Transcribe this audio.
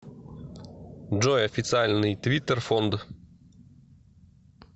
джой официальный твиттер фонд